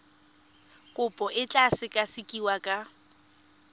kopo e tla sekasekiwa ka